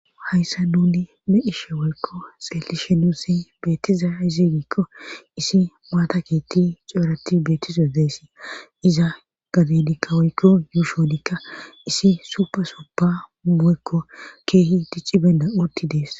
Hayssa nuni ne ishe woykko xelishe nusi beettiza izigiikko isi maata kitti ceorati beettizodeyssi iza gadidikka oykko yuushowodikka isi subasuba mu7ekko keehi dicci benda utti dees.